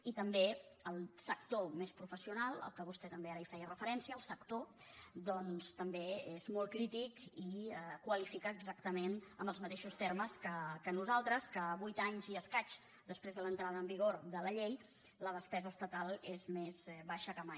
i també el sector més professional a què vostè també ara feia referència és molt crític i qualifica exactament amb els mateixos termes que nosaltres que vuit anys i escaig després de l’entrada en vigor de la llei la despesa estatal sigui més baixa que mai